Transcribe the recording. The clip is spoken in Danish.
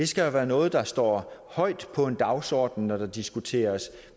skal være noget der står højt på en dagsorden når der diskuteres